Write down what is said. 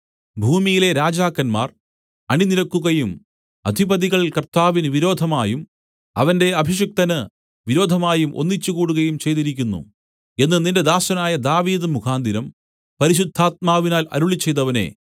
ഭൂമിയിലെ രാജാക്കന്മാർ അണിനിരക്കുകയും അധിപതികൾ കർത്താവിന് വിരോധമായും അവന്റെ അഭിഷിക്തന് വിരോധമായും ഒന്നിച്ചുകൂടുകയും ചെയ്തിരിക്കുന്നു എന്ന് നിന്റെ ദാസനായ ദാവീദ് മുഖാന്തരം പരിശുദ്ധാത്മാവിനാൽ അരുളിച്ചെയ്തവനേ